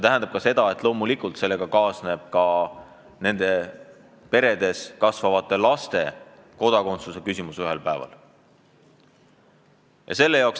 Ja loomulikult kaasneb sellega nendes peredes kasvavate laste kodakondsuse küsimus.